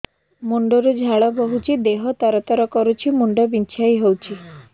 ମୁଣ୍ଡ ରୁ ଝାଳ ବହୁଛି ଦେହ ତର ତର କରୁଛି ମୁଣ୍ଡ ବିଞ୍ଛାଇ ହଉଛି